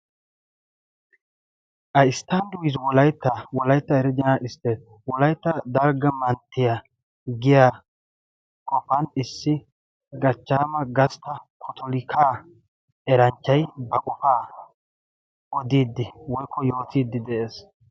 a isttand wiiz wolaitta wolaitta erijaanal isttee wolaitta dargga manttiya giya kofan issi gachchaama gastta potolikaa eranchchai ba qofaa odiiddi woikko yootiiddi de7ees.